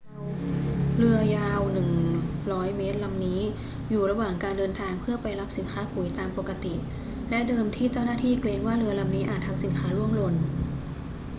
เรือยาว 100 เมตรลำนี้อยู่ระหว่างการเดินทางเพื่อไปรับสินค้าปุ๋ยตามปกติ และเดิมที่เจ้าหน้าที่เกรงว่าเรือลำนี้อาจทำสินค้าร่วงหล่น